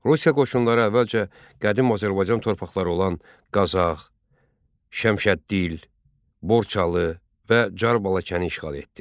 Rusiya qoşunları əvvəlcə qədim Azərbaycan torpaqları olan Qazax, Şəmşəddil, Borçalı və Carbalakəni işğal etdi.